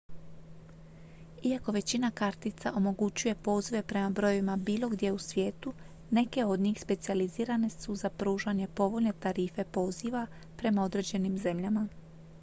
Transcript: iako većina kartica omogućuje pozive prema brojevima bilo gdje u svijetu neke od njih specijalizirane su za pružanje povoljne tarife poziva prema određenim zemljama